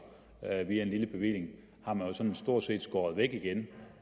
via en lille bevilling har man sådan set stort set skåret væk igen